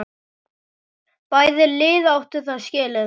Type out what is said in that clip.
Bæði lið áttu það skilið.